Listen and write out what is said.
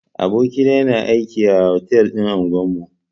Aboki na yana aiki a otal din unguwan mu.